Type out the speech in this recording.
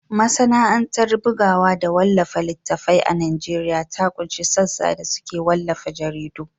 Masana’antar bugawa da wallafa littattafai a Najeriya ta ƙunshi sassa da suke wallafa jaridu.